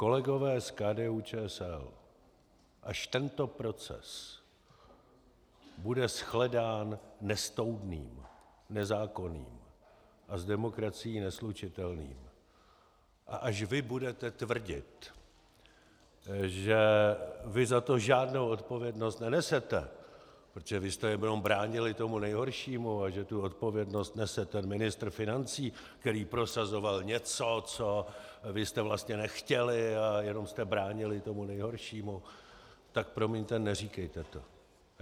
Kolegové z KDU-ČSL, až tento proces bude shledán nestoudným, nezákonným a s demokracií neslučitelným a až vy budete tvrdit, že vy za to žádnou odpovědnost nenesete, protože vy jste jenom bránili tomu nejhoršímu, a že tu odpovědnost nese ten ministr financí, který prosazoval něco, co vy jste vlastně nechtěli, a jenom jste bránili tomu nejhoršímu, tak promiňte, neříkejte to.